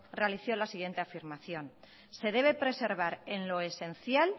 realizó la siguiente afirmación se debe preservar en lo esencial